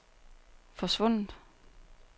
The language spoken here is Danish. forsvundet